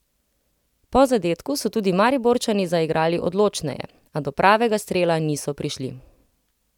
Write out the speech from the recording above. Po zadetku so tudi Mariborčani zaigrali odločneje, a do pravega strela niso prišli.